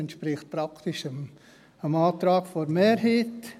Das entspricht praktisch dem Antrag der Mehrheit.